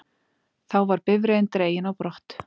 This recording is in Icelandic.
Þá var bifreiðin dregin á brott